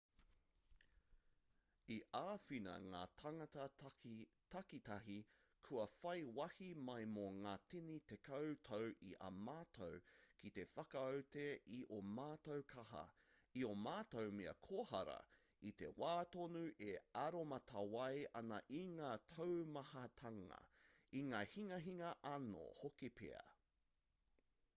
i āwhina ngā tāngata takitahi kua whai wāhi mai mō ngā tini tekau tau i a mātou ki te whakaute i ō mātou kaha i ō mātou mea kohara i te wā tonu e aromatawai ana i ngā taumahatanga i ngā hinganga anō hoki pea